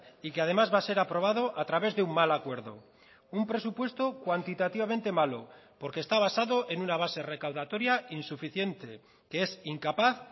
y que además va a ser aprobado a través de un mal acuerdo un presupuesto cuantitativamente malo porque está basado en una base recaudatoria insuficiente que es incapaz